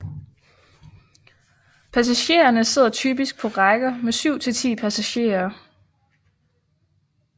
Passagererne sidder typisk på rækker med syv til 10 passagerer